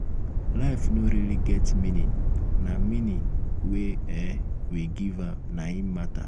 life no really get meaning na meaning um wey um we give am na im matter